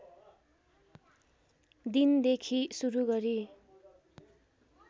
दिनदेखि सुरु गरी